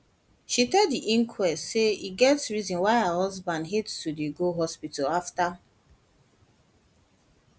she tell di inquest say e get reason why her husband hate to dey go hospital afta